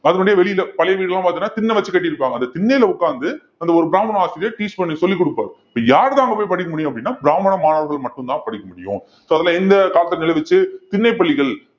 அதனுடைய வெளியில பழைய வீடெல்லாம் பாத்தீங்கன்னா திண்ணை வச்சு கட்டியிருப்பாங்க அந்த திண்ணையில உட்கார்ந்து அந்த ஒரு பிராமண ஆசிரியர் teach பண்ணி சொல்லிக் கொடுப்பார் இப்ப யார்தான் அங்க போய் படிக்க முடியும் அப்படின்னா பிராமண மாணவர்கள் மட்டும்தான் படிக்க முடியும் so அதுல என்ன தாக்கம் நிலவுவச்சி திண்ணைப் பள்ளிகள்